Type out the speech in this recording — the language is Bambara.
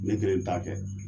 Ne kelen t'a kɛ.